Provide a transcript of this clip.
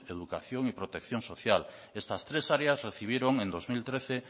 educación y protección sociales estas tres áreas recibieron en dos mil trece